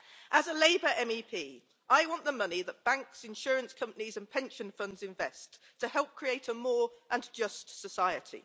As a Labour MEP, I want the money that banks, insurance companies and pension funds invest to help create a more just society.